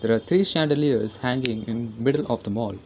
The three chandeliers hanging in middle of the mall.